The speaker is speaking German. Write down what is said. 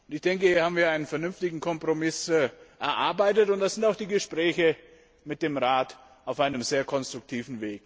Ich denke, hier haben wir einen vernünftigen Kompromiss erarbeitet, und da sind auch die Gespräche mit dem Rat sehr konstruktiv.